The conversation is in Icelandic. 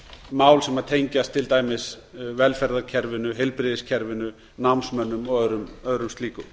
mál sem tengjast til dæmis velferðarkerfinu heilbrigðiskerfinu námsmönnum og öðrum slíkum